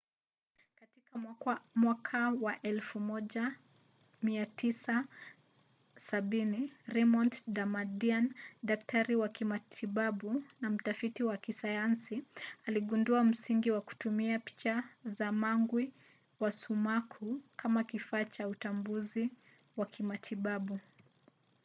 katika mwaka wa 1970 raymond damadian daktari wa kimatibabu na mtafiti wa kisayansi aligundua msingi wa kutumia picha za mwangwi wa sumaku kama kifaa cha utambuzi wa kimatibabu